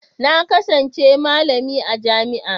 Na kasance malami a jami'a.